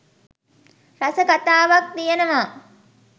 රස කතාවක් තියෙනවා.